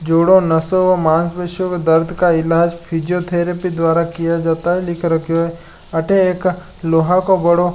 जोड़ो नसों व मासपेशियो के दर्द का इलाज फैसिओथेरेपी द्वारा किया जाता है लिख रखयो है अठे एक लोहा को बड़ो --